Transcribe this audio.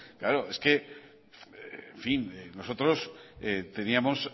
claro es que en fin nosotros teníamos